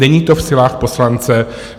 Není to v silách poslance.